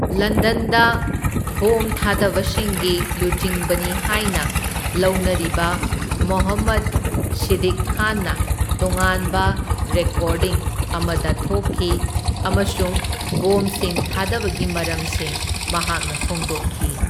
ꯂꯟꯗꯟꯗ ꯕꯣꯝꯊꯥꯗꯕꯁꯤꯡꯒꯤ ꯂꯨꯆꯤꯡꯕꯅꯤ ꯍꯥꯢꯅ ꯂꯧꯅꯔꯤꯕ ꯃꯣꯍꯝꯃꯗ ꯁꯤꯗꯤꯛ ꯈꯥꯟꯅ ꯇꯣꯉꯥꯟꯕ ꯔꯦꯀꯣꯔꯗꯤꯡ ꯑꯃꯗ ꯊꯣꯛꯈꯤ ꯑꯃꯁꯨꯡ ꯕꯣꯝꯁꯤꯡ ꯊꯥꯗꯕꯒꯤ ꯃꯔꯝꯁꯤꯡ ꯃꯍꯥꯛꯅ ꯐꯣꯡꯗꯣꯛꯈꯤ꯫